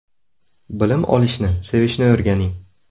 Bilim olishni sevishni o‘rganing!